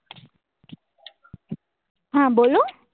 હા બોલો